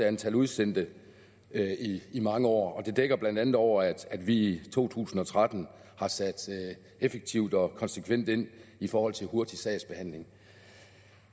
antal udsendte i mange år og det dækker blandt andet over at vi i to tusind og tretten har sat effektivt og konsekvent ind i forhold til en hurtig sagsbehandling